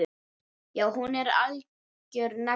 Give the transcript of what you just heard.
Já, hún er algjör negla.